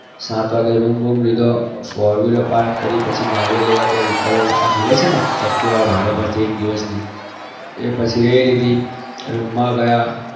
સાત વાગે room બૂમ લીધો four wheeler park કરી પછી ગાડીઓ લેવા ગયા vehicles ત્યાં મળે છે ને activa ભાડે પરથી એક દિવસની એ પછી એ લીધી room માં ગયા.